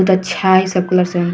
बहुत अच्छा है ।